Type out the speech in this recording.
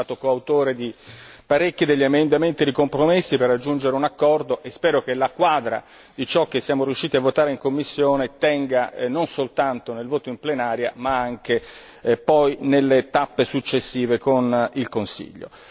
Sono stato coautore di parecchi emendamenti di compromesso per raggiungere un accordo e spero che la quadra di ciò che siamo riusciti a votare in commissione tenga non solo nel voto in plenaria, ma anche poi nelle tappe successive con il Consiglio.